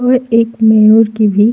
और एक मोर की भी --